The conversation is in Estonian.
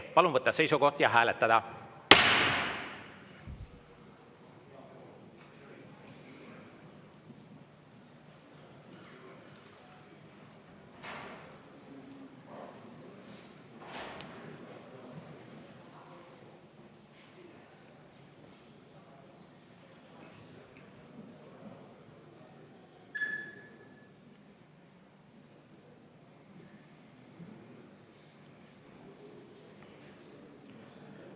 Palun võtta seisukoht ja hääletada!